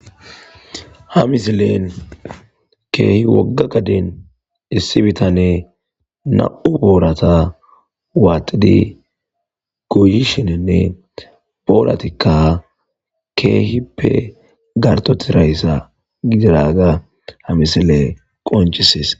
ha misilen keehi wogga gaden issi bitane na7u boorata waaxidi goyishinenne booratikka keehippe garto tirayssa gidiraga ha misile qoncises